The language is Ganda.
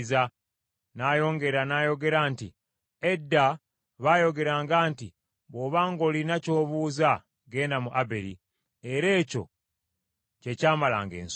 N’ayongera n’ayogera nti, “Edda baayogeranga nti, ‘Bw’oba ng’olina ky’obuuza genda mu Aberi,’ era ekyo kye ky’amalanga ensonga.